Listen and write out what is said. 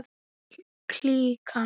Öll klíkan.